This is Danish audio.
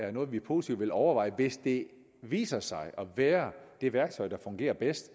er noget vi positivt vil overveje hvis det viser sig at være det værktøj der fungerer bedst